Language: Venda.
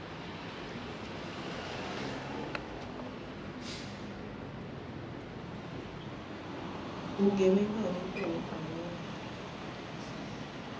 vhugevhenga ho itwaho kha vhone